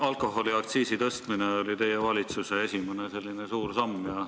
Alkoholiaktsiisi tõstmine oli teie valitsuse esimene suur samm.